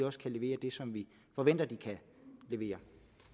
også kan levere det som vi forventer de kan levere